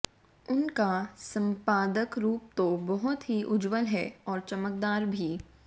उन का संपादक रुप तो बहुत ही उज्जवल है और चमकदार भी